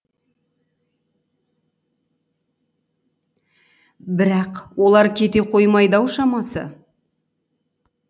бірақ олар кете қоймайды ау шамасы